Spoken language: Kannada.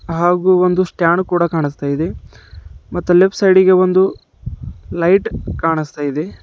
ಹಾಗೂ ಒಂದು ಸ್ಟ್ಯಾಂಡ್ ಕೂಡ ಕಾಣಿಸ್ತಾ ಇದೆ ಮತ್ತು ಲೆಫ್ಟ್ ಸೈಡ್ ಇಗೆ ಒಂದು ಲೈಟ್ ಕಾಣಿಸ್ತಾಯಿದೆ.